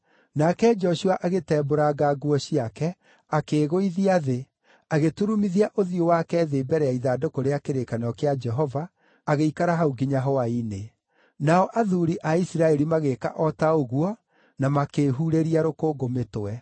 Nake Joshua agĩtembũranga nguo ciake, akĩĩgũithia thĩ, agĩturumithia ũthiũ wake thĩ mbere ya ithandũkũ rĩa kĩrĩkanĩro kĩa Jehova, agĩikara hau nginya hwaĩ-inĩ. Nao athuuri a Isiraeli magĩĩka o ta ũguo na makĩĩhurĩria rũkũngũ mĩtwe.